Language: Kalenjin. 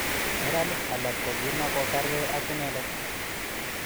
Neranik alak kokimakokerkei ak inendet